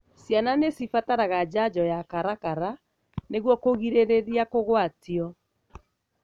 Ciana nĩcibataraga janjo ya karakara nĩguo kũgirĩrĩria kũgwatio.